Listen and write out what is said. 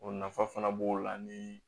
O nafa fana b'o la ni